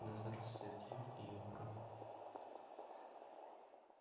да здравствует юг и его права